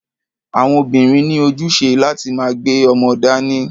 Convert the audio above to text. Àwọn obìnrin ní ojúṣe láti máa gbé ọmọ dání.